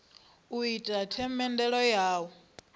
u ita themendelo ya u